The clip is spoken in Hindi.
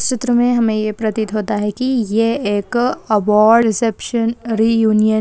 इस चित्र मे हमे ये प्रतीत होता है की ये एक अवॉर्ड रेसेपशन रीयूनियन --